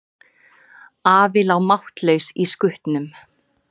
Afi lá máttlaus í skutnum.